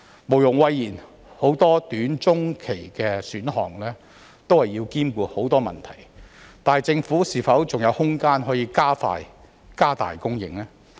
毋庸諱言，許多短、中期的選項均要兼顧很多問題，但政府是否還有空間可以加快、加大供應？